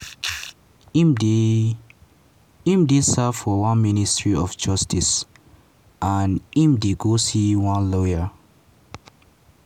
im dey im dey serve for one ministry of justice and im go dey see lawyer